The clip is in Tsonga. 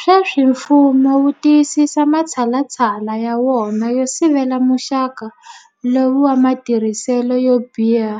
Sweswi mfumo wu tiyisisa matshalatshala ya wona yo sivela muxaka lowu wa matirhiselo yo biha